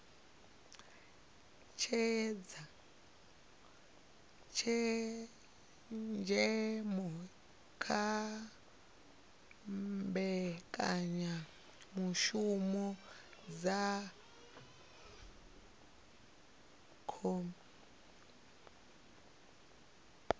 tshenzhemo kha mbekanyamishumo dza cbnrm